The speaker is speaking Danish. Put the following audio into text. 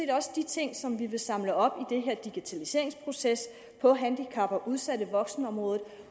også de ting som vi vil samle op i den her digitaliseringsproces på handicap og udsatte voksne området